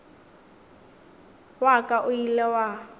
wa ka o ile wa